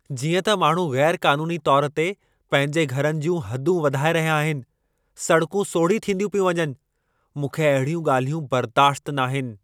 जीअं त माण्हू गै़रु क़ानूनी तौरु ते पंहिंजे घरनि जूं हदूं वधाए रहिया आहिनि , सड़कूं सोढ़ी थींदियूं पियूं वञनि। मूंखे अहिड़ियूं ॻाल्हियूं बर्दाश्ति नाहिनि।